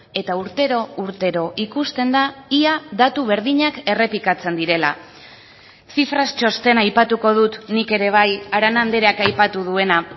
eta urtero urtero ikusten da ia datu berdinak errepikatzen direla cifras txostena aipatuko dut nik ere bai arana andreak aipatu duena